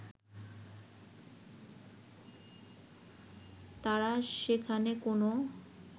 তারা সেখানে কোনো